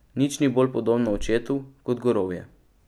Nič ni bolj podobno očetu kot gorovje.